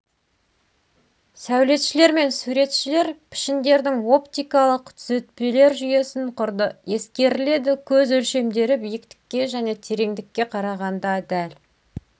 сәулетшілер мен суретшілер пішіндердің оптикалық түзетпелер жүйесін құрды ескеріледі көз өлшемдері биіктікке және тереңдікке қарағанда дәл